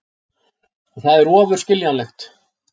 Og það er ofur skiljanlegt.